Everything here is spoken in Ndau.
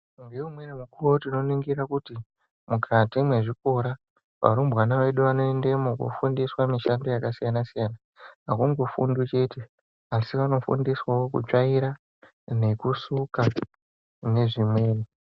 Ngeimweni mikuwo tinoringira kuti mukati mwezvikora varumbwana vedu vanoendemo kofundiswa mishando yakasiyana siyana akungofundwi chete asi vanofundiswawo kutsvaira nekusuka nezvimweni.